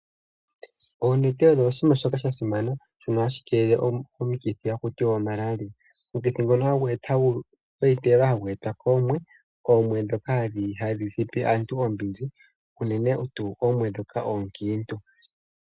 Oonete odho oshima shoka sha simana shona hashi kelele omukithi haku tiwa omalaria omukithi ngono hagu etwa koomwe, oomwe ndhoka hadhi thipi aantu oombinzi unene tuu oomwe ndhoka oonkintu.